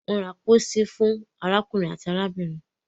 won ra pósí fún arákùnrin àti arábìnrin